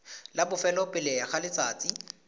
la bofelo pele ga letsatsi